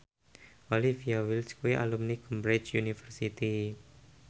Olivia Wilde kuwi alumni Cambridge University